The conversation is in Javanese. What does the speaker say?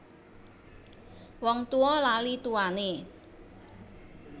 Wong tuwa lali tuwane